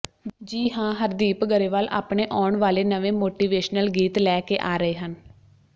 ਜੀ ਹਾਂ ਹਰਦੀਪ ਗਰੇਵਾਲ ਆਪਣੇ ਆਉਣ ਵਾਲੇ ਨਵੇਂ ਮੋਟੀਵੇਸ਼ਨਲ ਗੀਤ ਲੈ ਕੇ ਆ ਰਹੇ ਹਨ